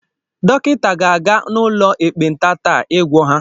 Dọkịta ga-aga n’ụlọ ekpenta taa igwọ ha